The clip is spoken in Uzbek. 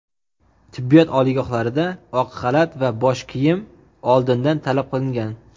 tibbiyot oliygohlarida oq xalat va bosh kiyim oldindan talab qilingan.